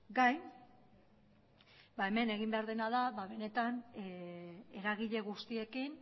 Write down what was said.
gain hemen egin behar dena da benetan eragile guztiekin